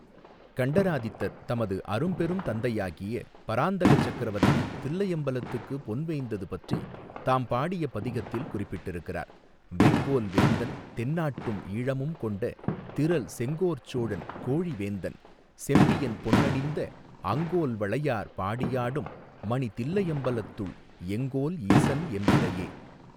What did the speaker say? கண்டராதித்தர் தமது அரும் பெரும் தந்தையாகிய பராந்தக சக்கரவர்த்தி தில்லையம்பலத்துக்கு பொன் வேய்ந்தது பற்றி தாம் பாடிய பதிகத்தில் குறிப்பிட்டிருக்கிறார் வெங்கோல் வேந்தன் தென்னாட்டும் ஈழமும் கொண்ட திறல் செங்கோற்சோழன் கோழிவேந்தன் செம்பியன் பொன்னணிந்த அங்கோல்வளையார் பாடியாடும் மணி தில்லையம்பலத்துள் எங்கோல் ஈசன் எம்பிறையே.